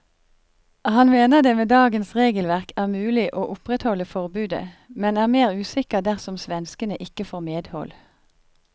Han mener det med dagens regelverk er mulig å opprettholde forbudet, men er mer usikker dersom svenskene ikke får medhold.